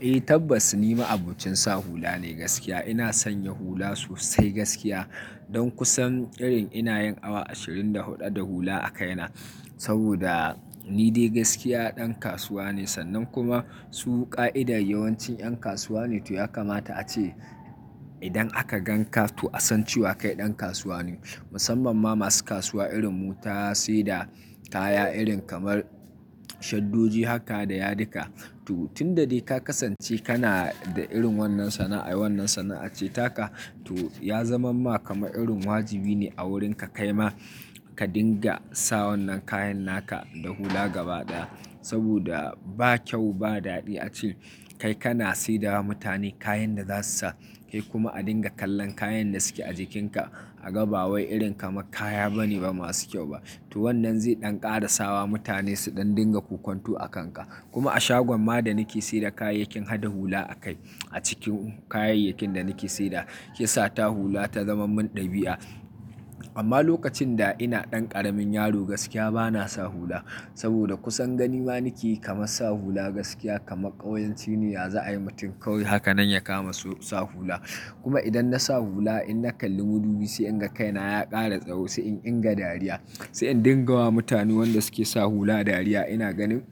Eh tabbas ni ma'abucin sa hula ne gaskiya. Ina sanya hula sosai gaskiya. Don kusan irin ina yin awa ashirin da huɗu da hula a kaina. Saboda ni dai gaskiya ɗan kasuwa ne sannan kuma su ka'idar yawancin ƴan kasuwa ne. To ya kamata ace idan aka gan ka to a san cewa kai ɗan kasuwa ne. Musamman ma masu kasuwa irin mu ta sai da kaya irin kamar shaddoji haka da yadika. To tun da dai ka kasance kana da irin wannan sana'a, wannan sana'a ce taka to ya zaman ma kama irin wajibi ne a wurin ka kaima ka dinga sa wannan kayan naka da hula gaba ɗaya. Saboda ba kyau ba dadi a ce kai kana saida wa mutane kayan da za su sa kai kuma a dinga kallon kayan da suke a jikinka a ga ba. Wai irin kamar kaya bane ba masu kyau ba. To wannan zai ɗan ƙara sawa mutane su ɗan dinga kokwantu a kanka. Kuma a shagon ma da nake sayar da kayayyakin hadda hula a kai a cikin kayayyakin da nake sayar da, shi yasa ta hula ta zama min ɗabi'a. Amma lokacin da ina ɗan ƙaramin yaro gaskiya bana sa hula. Saboda kusan gani ma nake kamar sa hula gaskiya kamar ƙauyanci ne yaza ayi mutum kawai haka nan ya kama so sa hula. Kuma idan na sa hula in na kalli madubi sai in ga kaina ya ƙara tsawo sai in inga dariya. Sai in dinga wa mutanen wanda suke sa hula dariya. Ina ganin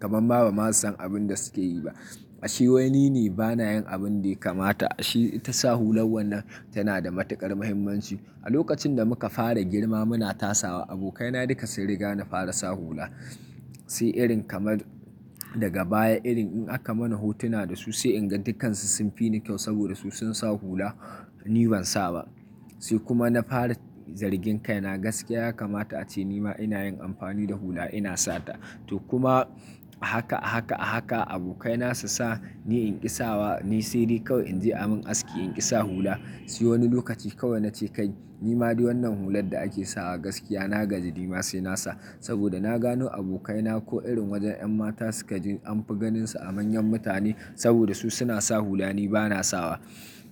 kamar ma bama su san abin da suke yi ba. Ashe wai nine bana yin abin da ya kamata. Shi ita sa hular wannan tana da matuƙar muhimmanci. A lokacin da muka fara girma muna tasawa abokai na duka sun riga na fara sa hula. Sai irin kamar daga baya irin in aka mana hotuna da su sai in ga dukansu sun fi ni kyau saboda su sun sa hula ni ban sa ba. Sai kuma na fara zargin kaina gaskiya ya kamata ace nima ina yin amfani da hula ina sata. To kuma a haka, a haka, a haka abokai na su sa ni inƙi sawa, ni sai dai kawai in je a min aski in ƙi sa hula. Sai wani lokaci kawai nace kai nima dai wannan hular da ake sawa gaskiya na gaji nima sai na sa. Saboda na gano abokai na ko irin wajen ƴan mata suka je anfi ganin su a manyan mutane saboda su suna sa hula ni bana sawa.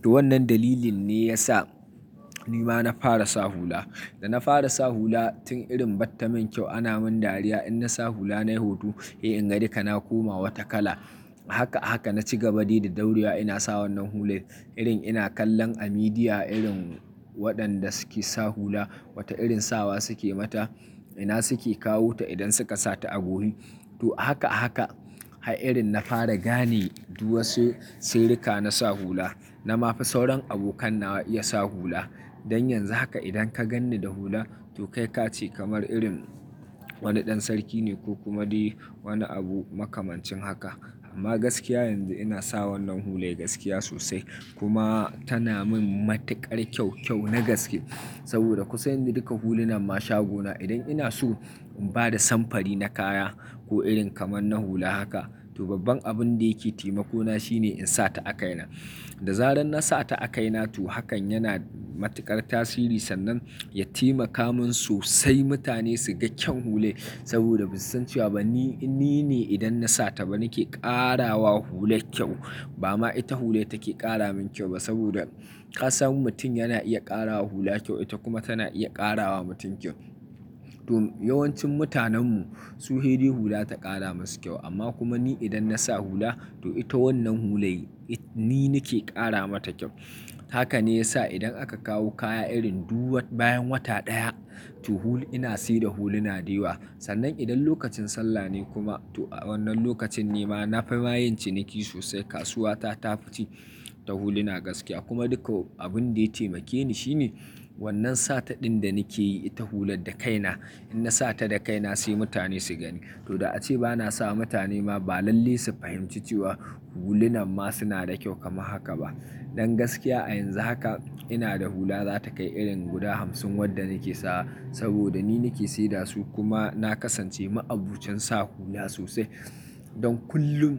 To wannan dalilin ne ya sa nima na fara sa hula. Da na fara sa hula tun irin batta min kyau ana min dariya in na sa hula nai hoto. Eh inga dika na koma wata kala. Haka a haka na ci gaba dai da daurewa ina sa wannan hule irin ina kallon a midiya irin waɗanda suke sa hula wata irin sawa suke mata ina suke kawota idan suka sata a guri. To haka a haka har irin na fara gane duk wasu sjrrika na sa hula. Na ma fi sauran abokan nawa iya sa hula. Don yanzu haka idan ka ganni da hula to kai ka ce kamar irin wani ɗan sarki ne ko kuma dai wani abu makamancin haka. Amma gaskiya yanzu ina sa wannan hule gaskiya sosai. Kuma tana min matuƙar kyau kyau na gaske. Saboda kusan duka hulunan ma shagona idan ina so in bada samfari na kaya ko irin kamar na hula haka to babban abin da yake taimako na shine in sata a kaina. Da zarar na sata a kaina to hakan yana matuƙar tasiri sannan ya taimaka min sosai mutane su ga kyan hule. Saboda ba su san cewa ba ni, ni ne idan na sata ba nake ƙarawa hular kyau. Ba ma ita hule take ƙara min kyau ba saboda ka samu mutum yana iya ƙarawa hula kyau ita kuma tana iya ƙarawa mutum kyau. To yawancin mutanen mu su hede hula ta ƙara masu kyau amma kuma ni idan na sa hula to ita wannan hule yi, ni nake ƙara mata kyau. Haka ne ya sa idan aka kawo kaya irin duk wat bayan wata ɗaya to hul, ina se da da huluna da yawa. Sannan idan lokacin sallah ne kuma to wannan lokacin ne ma na fi ma yin ciniki sosai. Kasuwa ta, ta fi ci ta huluna gaskiya kuma duka abin da ya taimakeni shine wannan sata ɗin da nake yi ita hular da kaina in na sata da kaina sai mutane su gani. To da ace bana sawa mutane ma ba lalle su fahimci cewa hulunan ma suna da kyau kamar haka ba. Don gaskiya a yanzu haka ina da hula za ta kai irin guda hamsin wadda nake sawa saboda ni nake seda su da su kuma na kasance ma'abucin sa hula sosai. Don kullum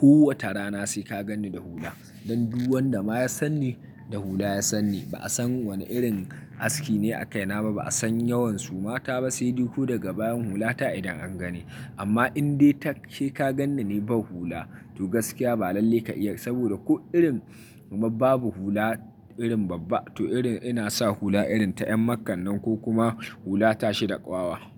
kowace rana sai ka ganni da hula. Don duk wanda ma ya san ni da hula ya san ni. Ba'a san wane irin aski ne a kaina ba ba'a san yawan suma ta ba sai duk ko daga bayan hulata idan an gani. Amma in dai ta ke ka ganni ni ban hula to gaskiya ba lalle ka iya saboda ko irin kuma babu hula irin babba to irin ina sa hula irin ta ƴan makan nan ko kuma hula tashi da ƙwawa.